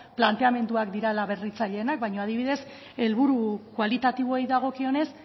planteamenduak direla berritzaileenak baina adibidez helburu kualitatiboei dagokionez